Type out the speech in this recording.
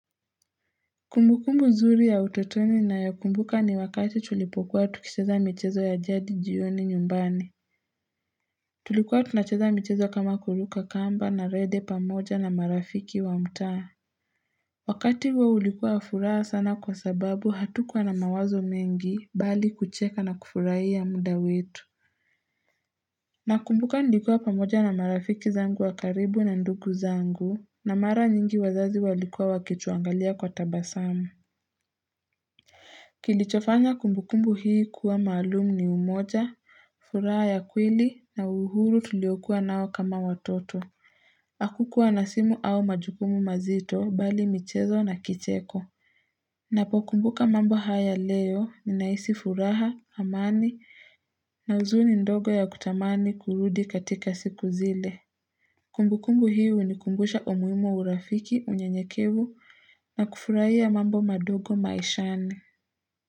Kumbukumbu zuri ya utotoni na ya kumbuka ni wakati tulipokuwa tukicheza michezo ya jadi jioni nyumbani Tulikuwa tunacheza michezo kama kuruka kamba na rede pamoja na marafiki wa mtaa Wakati huo ulikuwa wa furaha sana kwa sababu hatukuwa na mawazo mengi bali kucheka na kufuraia muda wetu na kumbuka nlikuwa pamoja na marafiki zangu wakaribu na ndugu zangu na mara nyingi wazazi walikuwa wakituangalia kwa tabasamu Kilichofanya kumbukumbu hii kuwa maalumu ni umoja, furaha ya kwili na uhuru tuliokuwa nao kama watoto Akukuwa na simu au majukumu mazito bali michezo na kicheko Napokumbuka mambo haya leo ninaisi furaha, amani na uzuni ndogo ya kutamani kurudi katika siku zile Kumbukumbu hii unikumbusha umuhimu wa urafiki unyenyekivu na kufuraiya mambo madogo maishani.